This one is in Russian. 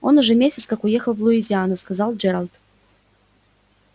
он уже месяц как уехал в луизиану сказал джералд